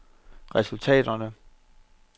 resultaterne